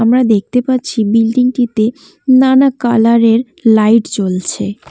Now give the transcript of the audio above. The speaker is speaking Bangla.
আমরা দেখতে পাচ্ছি বিল্ডিং -টিতে নানা কালার -এর লাইট জ্বলছে।